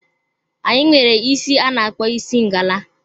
Anyị nwere isi a na-akpọ isi ngala.